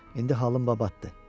İndi halım babatdır.